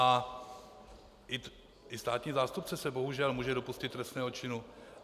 A i státní zástupce se bohužel může dopustit trestného činu.